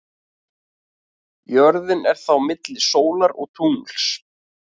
Jörðin er þá milli sólar og tungls.